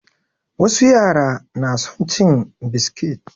Wasu yara na son cin biskit